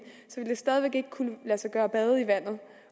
så ville det stadig væk ikke kunne lade sig gøre at bade i vandet